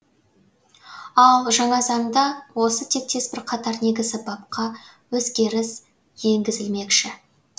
ал жаңа заңда осы тектес бірқатар негізі бапқа өзгеріс енгізілмекші